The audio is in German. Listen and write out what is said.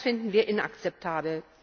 Und das finden wir inakzeptabel.